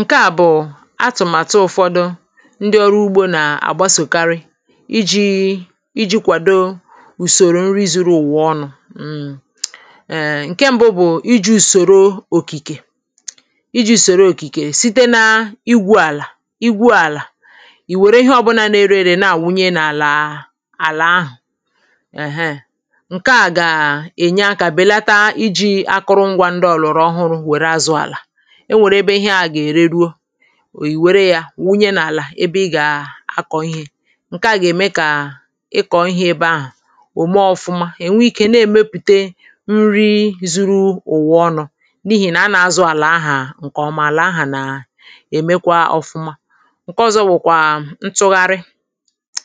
ǹke à bụ̀ atụ̀màtụ ụ̀fọdụ ndị ọrụ ugbȯ na-àgbasòkarị iji̇ iji̇ kwàdo ùsòrò nri zuru ùwụ̀ ọnụ̇ ǹke mbụ bụ̀ iji̇ ùsòro òkìkè iji̇ ùsòro òkìkè site na igwu àlà iwu àlà ì wère ihe ọbụna na-erere na-àwụnye n’àlà àlà ahụ̀ èheè ǹke à gà-ènye akȧ bèlata iji̇ akụrụ ngwȧ ndị ọ̀lụ̀rụ̀ enwèrè ebe ihe a gà-ère ruo ì wère yȧ wunye n’àlà ebe ị gà-akọ̀ ihe ǹke a gà-ème kà ị kọ̀ ihe ebe ahụ̀ òme ọ̀fụma è nwe ikė na-èmepùte nri zuru ụ̀wụ ọnọ̇ n’ihì nà a nà-azụ̇ àlà ahà ǹkè ọ̀mà àlà ahà nà- èmekwa ọ̀fụma ǹke ọ̀zọ wụ̀kwà ntụgharị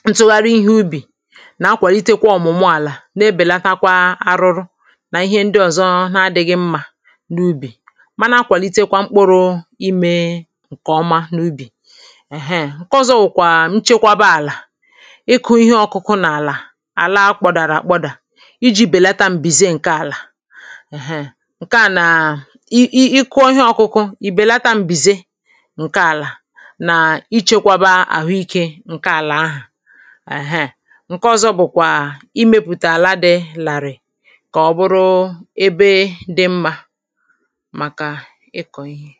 ntụgharị ihe ubì nà akwàrịtịkwa ọ̀mụ̀mụ àlà na-ebèlatakwa arụrụ nà ihe ndị ọ̀zọ n’adị̇ghị mmà n’ubì ǹkè ọma n’ubì ǹke ọzọ bụ̀kwà nchekwaba àlà ịkụ̇ ihe ọ̇kụ̇kụ̇ nà àla àla kpọ̀dàrà àkpọdà iji̇ bèlata m̀bìze ǹke àlà ǹke à nà ị ị kụọ ihe ọ̇kụ̇kụ̇ ì bèlata m̀bìze ǹke àlà nà ichėkwaba àhụ ikė ǹke àlà ahà àhụ àhụ àhụ àhụ ǹke ọ̇zọ bụ̀kwà i mepùtààla dị̇ làrị̀ kà ọ bụrụ ebe dị mmȧ ikọ̇ ihė